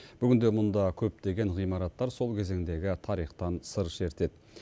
бүгінде мұнда көптеген ғимараттар сол кезеңдегі тарихтан сыр шертеді